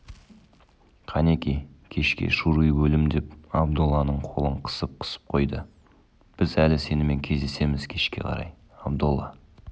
қанеки кешке шуруй бөлім деп абдолланың қолын қысып-қысып қойды біз әлі сенімен кездесеміз кешке қарай абдолла